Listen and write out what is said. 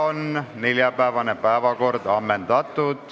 Neljapäevase istungi päevakord on ammendatud.